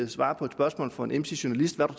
svare på et spørgsmål fra en emsig journalist om